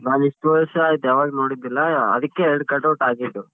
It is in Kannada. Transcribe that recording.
ನಾನಿಷ್ಟ್ ವರ್ಷ ಆಯ್ತ್ ಯಾವಾಗ್ ನೋಡಿದ್ದಿಲ್ಲ ಅದಕ್ಕೆ ಎರ್ಡ್ cut out ಹಾಕಿದ್ದು.